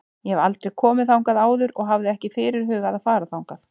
Ég hef aldrei komið þangað áður og hafði ekki fyrirhugað að fara þangað.